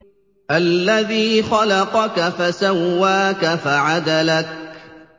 الَّذِي خَلَقَكَ فَسَوَّاكَ فَعَدَلَكَ